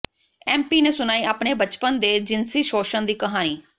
MP ਨੇ ਸੁਣਾਈ ਆਪਣੇ ਬਚਪਨ ਦੇ ਜਿਨਸੀ ਸੋਸ਼ਣ ਦੀ ਕਹਾਣੀ